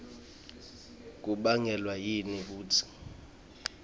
kubangelwa yini kutsi